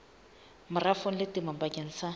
merafong le temong bakeng sa